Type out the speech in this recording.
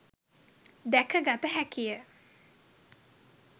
දැක ගත හැකිය.